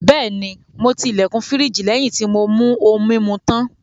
Bẹ́ẹ̀ni, mo ti ilẹ̀kùn firiji lẹ́yìn tí mo mú ohun-mímu tán.